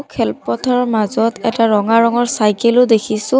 খেলপথাৰৰ মাজত এটা ৰঙা ৰঙৰ চাইকেলো দেখিছোঁ।